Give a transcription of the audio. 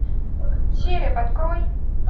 череп открой